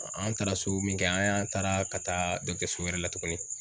An taara so min kɛ an taara ka taa so wɛrɛ la tugunni.